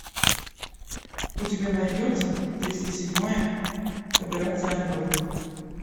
у тебя найдется триста седьмая операция андроид